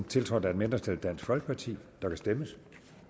tiltrådt af et mindretal der kan stemmes